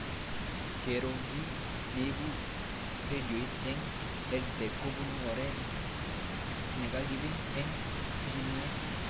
Kero kiy neipu rediot eng' EdTech kopun oret nekakip eng' pichinwek